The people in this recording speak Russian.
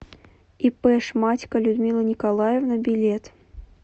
ип шматько людмила николаевна билет